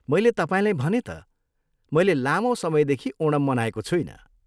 मैले तपाईँलाई भनेँ त, मैले लामो समयदेखि ओणम मनाएको छुइनँ।